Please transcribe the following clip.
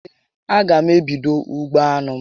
Ee, a gá m ebido ugbo anụ